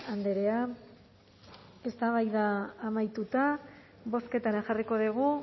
andrea eztabaida amaituta bozketara jarriko dugu